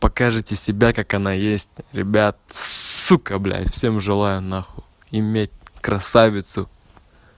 покажите себя как оно есть ребят сука блять всем желаю нахуй иметь красавицу